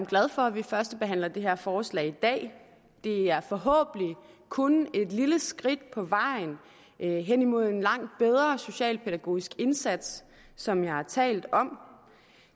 glad for at vi førstebehandler det her forslag i dag det er forhåbentlig kun et lille skridt på vejen hen imod en langt bedre socialpædagogisk indsats som jeg har talt om